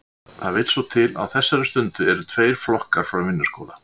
Það vill svo til að á þessari stundu eru tveir flokkar frá Vinnuskóla